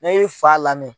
Ne ye fa lamɛn